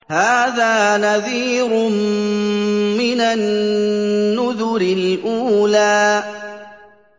هَٰذَا نَذِيرٌ مِّنَ النُّذُرِ الْأُولَىٰ